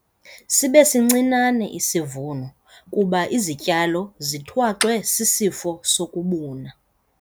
Sibe sincinane isivuno kuba izityalo zethwaxwe sisifo sokubuna.